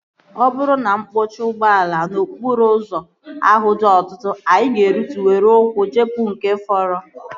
Ọ bụrụ na mkpọchi ụgbọala n'okporo ụzọ ahụ dị ọtụtụ, anyị ga-arịtụ were ụkwụ jeetopu nke fọrọ